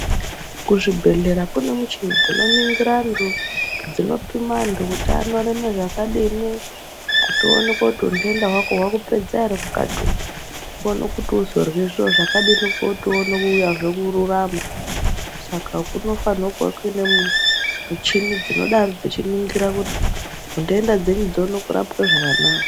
Kuzvibhedhlera kune michini dzinoningira antu dzinopima antu kuti anorema zvakadini kuti uoneke kuti untenda hwako hwakupedza ere mukati umo uone kuti uzorya zviro zvakadini kuti uone kuuyazve kururama saka kunofana kuva kuine michini dzinodaro dzeiningira kuti ntenda dzenyu dzione kurapwa zvakanaka.